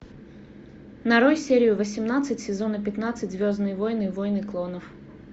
нарой серию восемнадцать сезона пятнадцать звездные войны войны клонов